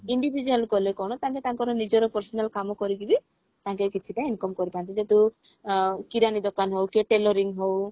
individual କଲେ କଣ ତାଙ୍କେ ତାଙ୍କର ନିଜର personal କାମ କରିକି ବି ତାଙ୍କେ କିଛିଟା income କରିପାରନ୍ତି ଯେହେତୁ ଅ କିରାଣୀ ଦୋକାନ ହଉ କି tailoring ହଉ